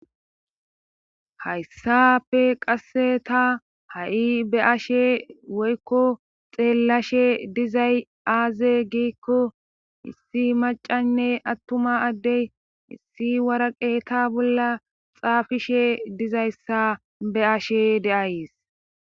Hayssapfe qasse ta ha7i be ashe woykko xeellashe dizay aaze giikko issi macanne attuma addey issi waraqeeta bolla xaafishe dizayssa be ashe deays